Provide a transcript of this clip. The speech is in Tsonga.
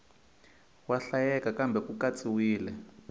wa hlayeka kambe ku katsiwile